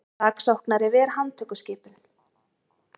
Saksóknari ver handtökuskipun